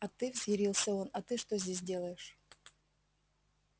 а ты взъярился он а ты что здесь делаешь